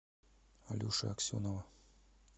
алеши аксенова